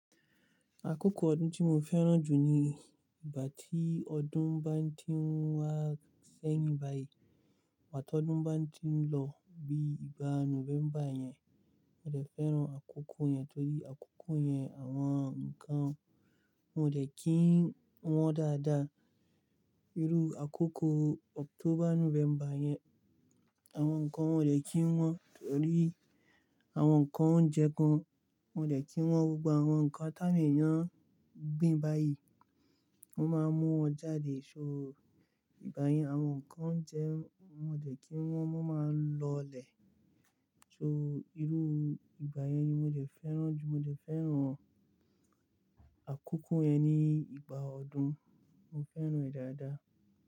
Àkókò ọdún tí mo fẹ́ràn jù ni ìgbà tí ọdún bá ti ń wá sẹ́yìn báyìí, àti ọdún bá ti ń lọ bí i ìgbà November yẹn, mo dẹ̀ fẹ́ràn àkókò yẹn torí àkókò yẹn àwọn nǹkan wọn ò le kí ń wọ́n dáadáa. Irú àkókò October November yẹn àwọn nǹkan wọn ò de kí wọ́n torí àwọn nǹkan oúnjẹ gan wọn ò de kí wọ́n, gbogbo àwọn nǹkan ti awon eeyan gbin báyìí wọ́n máa mú wọn jáde. Ṣó ìgbà yẹn àwọn nǹkan oúnjẹ wọn ò de kí wọ́n, wọ́n máa lọlẹ̀. Ṣó irú ìgbà yẹn ni mo dẹ̀ fẹ́ràn jù, mo dẹ̀ fẹ́ràn àkókò yẹn ní ìgbà ọdún, mo dẹ̀ fẹ́ràn rẹ̀ dáadáa.